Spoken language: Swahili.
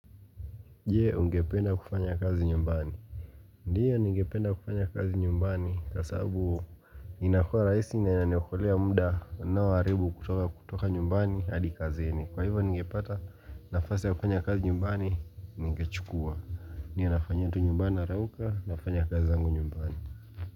Je ungependa kufanya kazi nyumbani Ndiyo ningependa kufanya kazi nyumbani kwa sababu inakua rahisi na inaniokolea muda ninaoharibu kutoka nyumbani hadi kazini. Kwa hiyo ningepata nafasi ya kufanya kazi nyumbani ningechukua niwe nafanyia tu nyumbani narauka nafanya kazi zangu nyumbani.